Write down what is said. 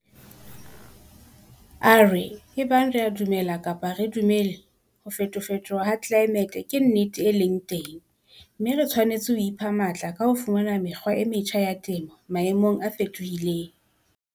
A re, ebang re a dumela kapa ha re dumele, ho fetofetoha ha tlelaemete ke nnete e leng teng, mme re tshwanetse ho ipha matla ka ho fumana mekgwa e metjha ya temo maemong a fetohileng.